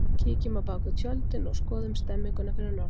Kíkjum á bakvið tjöldin og skoðum stemmninguna fyrir norðan!